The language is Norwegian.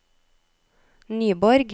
Nyborg